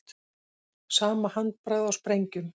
Sama handbragð á sprengjum